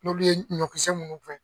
N'olu ye ɲɔkisɛ minnu fɛn.